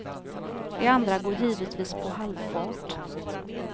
De andra går givetvis på halvfart.